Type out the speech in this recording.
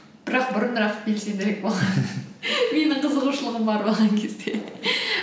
бірақ бұрынырақ белсендірек менің қызығушылығым бар болған кезде